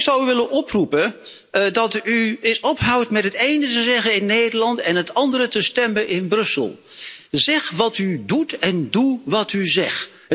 En ik zou u willen oproepen dat u eens ophoudt met het ene te zeggen in Nederland en voor het andere te stemmen in Brussel. Zeg wat u doet en doe wat u zegt.